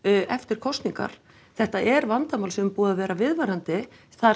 eftir kosningar þetta er vandamál sem er búið að vera viðvarandi